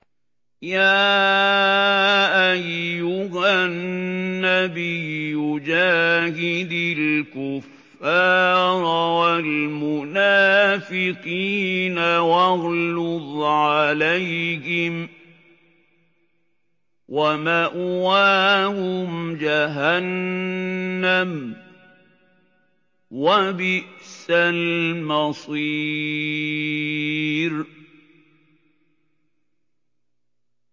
يَا أَيُّهَا النَّبِيُّ جَاهِدِ الْكُفَّارَ وَالْمُنَافِقِينَ وَاغْلُظْ عَلَيْهِمْ ۚ وَمَأْوَاهُمْ جَهَنَّمُ ۖ وَبِئْسَ الْمَصِيرُ